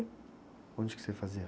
Onde que você fazia?